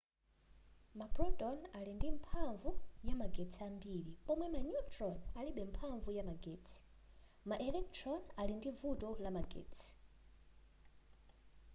maproton ali ndi mphamvu ya magetsi ambiri pomwe ma neutron alibe mphamvu ya magetsi ma electron ali ndi vuto la magetsi